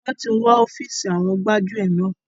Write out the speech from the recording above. Wọn tí wó ofiisi àwọn gbájúẹ̀ náà.